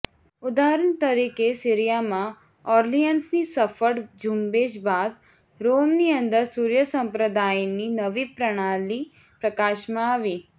ઉદાહરણ તરીકે સીરીયામાં ઔર્લિયન્સની સફળ ઝુંબેશ બાદ રોમની અંદર સૂર્ય સંપ્રદાયની નવી પ્રણાલી પ્રકાશમાં આવી